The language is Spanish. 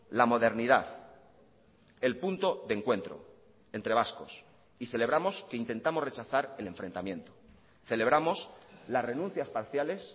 la modernidad el punto de encuentro entre vascos y celebramos que intentamos rechazar el enfrentamiento celebramos las renuncias parciales